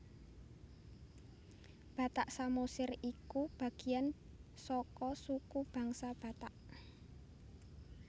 Batak Samosir iku bagéyan saka suku bangsa Batak